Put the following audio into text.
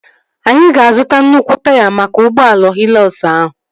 Anyị ga-azuta nnukwu taya maka ụgbọala Hịlọkz ahụ